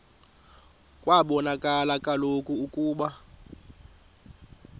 kwabonakala kaloku ukuba